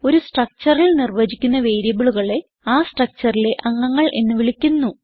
ഒരു structureൽ നിർവചിക്കുന്ന വേരിയബിളുകളെ ആ structureലെ അംഗങ്ങൾ എന്ന് വിളിക്കുന്നു